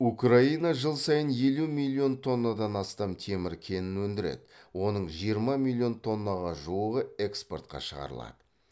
украина жыл сайын елу миллион тоннадан астам темір кенін өндіреді оның жиырма миллион тоннаға жуығы экспортқа шығарылады